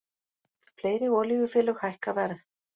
Fleiri olíufélög hækka verð